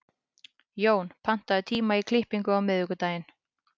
Jón, pantaðu tíma í klippingu á miðvikudaginn.